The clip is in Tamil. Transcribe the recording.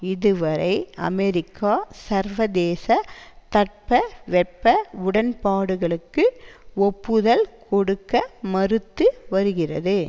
இது வரை அமெரிக்கா சர்வதேச தட்பவெப்ப உடன்பாடுகளுக்கு ஒப்புதல் கொடுக்க மறுத்து வருகிறது